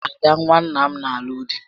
Ada nwa nna m nà alụ di